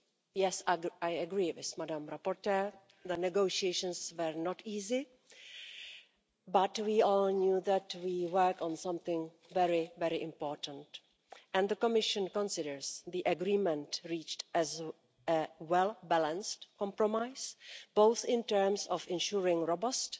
Yes, I agree with the rapporteur, the negotiations were not easy, but we all knew that we were working on something very, very important, and the Commission considers the agreement reached is a well balanced compromise, both in terms of ensuring robust